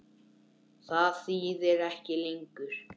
Það þýðir ekki lengur.